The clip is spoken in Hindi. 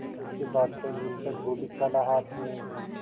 इसके बाद कई दिन तक बूढ़ी खाला हाथ में